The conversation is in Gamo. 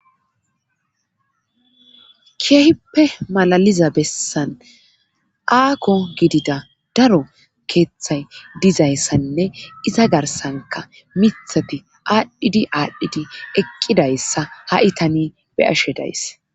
keehippe malaliza bessan aako gidida daro keeththay dizayssanne iza garsanka mithati aadhdhidi aadhdhidi eqqidayssa ha7i tani be ashe days